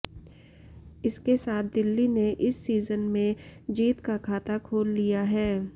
इसके साथ दिल्ली ने इस सीजन में जीत का खाता खोल लिया है